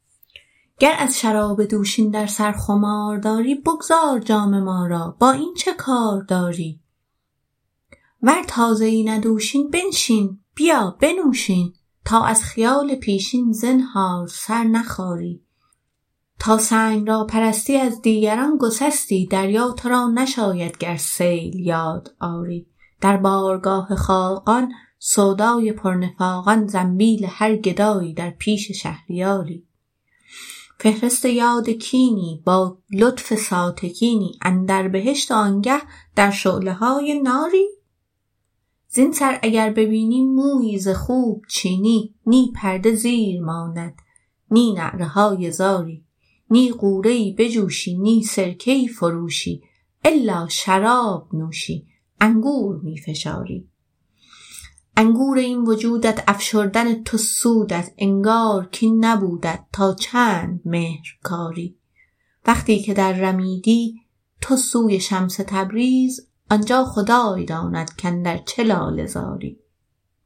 گر از شراب دوشین در سر خمار داری بگذار جام ما را با این چه کار داری ور تازه ای نه دوشین بنشین بیا بنوش این تا از خیال پیشین زنهار سر نخاری تا سنگ را پرستی از دیگران گسستی دریا تو را نشاید گر سیل یاد آری در بارگاه خاقان سودای پرنفاقان زنبیل هر گدایی در پیش شهریاری فهرست یاد کینی با لطف ساتکینی اندر بهشت وآنگه در شعله های ناری زین سر اگر ببینی مویی ز خوب چینی نی پرده زیر ماند نی نعره های زاری نی غوره ای بجوشی نی سرکه ای فروشی الا شراب نوشی انگور می فشاری انگور این وجودت افشردن تو سودت انگار کین نبودت تا چند مهر کاری وقتی که دررمیدی تو سوی شمس تبریز آن جا خدای داند کاندر چه لاله زاری